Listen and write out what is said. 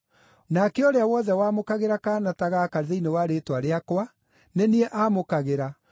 “Nake ũrĩa wothe wamũkagĩra kaana ta gaka thĩinĩ wa rĩĩtwa rĩakwa, nĩ niĩ aamũkagĩra.